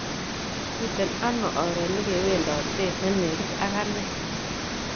Miten ano oret ne kewondotet ne negit ak anee